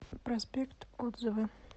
проспект отзывы